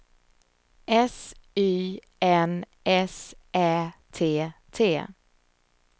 S Y N S Ä T T